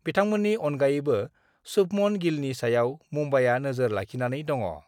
बिथांमोननि अनगायैबो सुभमन गिलनि सायाव मुम्बाइआ नोजोर लाखिनानै दङ।